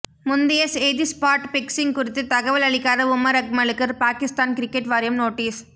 முந்தைய செய்திஸ்பாட் பிக்சிங் குறித்து தகவல் அளிக்காத உமர் அக்மலுக்கு பாகிஸ்தான் கிரிக்கெட் வாரியம் நோட்டீஸ்